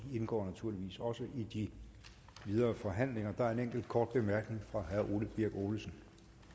indgår naturligvis også i de videre forhandlinger der er en enkelt kort bemærkning fra herre ole birk olesen